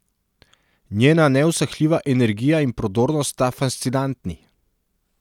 Njena neusahljiva energija in prodornost sta fascinantni.